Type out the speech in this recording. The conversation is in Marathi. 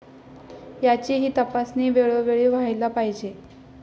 याचीही तपासणी वेळोवेळी व्हायला पाहिजे.